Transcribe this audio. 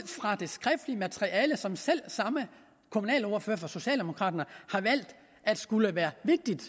fra det skriftlige materiale som selv samme kommunalordfører for socialdemokraterne har valgt skulle være